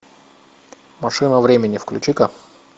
машина времени включи ка